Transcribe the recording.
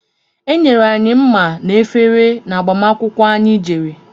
Enyere anyị mma na efere n'agbamakwukwó anyị jere.